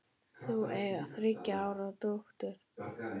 Þau eiga þriggja ára dóttur.